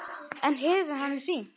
En hefur hann hringt?